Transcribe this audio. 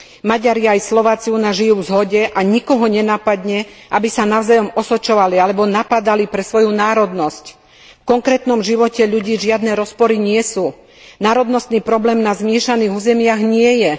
Maďari aj Slováci u nás žijú v zhode a nikomu nenapadne, aby sa navzájom osočovali alebo napádali pre svoju národnosť. V konkrétnom živote ľudí žiadne rozpory nie sú, národnostný problém na zmiešaných územiach nie je.